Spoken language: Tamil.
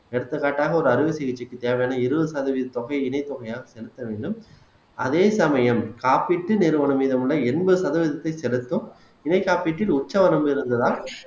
எடுத்துக்காட்டாக ஒரு அறுவை சிகிச்சைக்கு தேவையான இருபது சதவீத தொகையை இணைத்தொகையாக செலுத்த வேண்டும் அதே சமயம் காப்பீட்டு நிறுவனம் மீது உள்ள எண்பது சதவீதத்தை செலுத்தும் இணை காப்பீட்டில் உற்சவம் இருந்ததால்